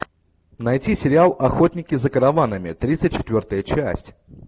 найти сериал охотники за караванами тридцать четвертая часть